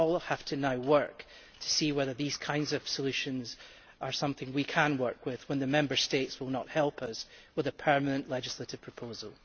We now all have to work to see whether these kinds of solutions are something we can work with when the Member States will not help us by coming up with a permanent legislative proposal.